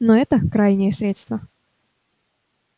но это крайнее средство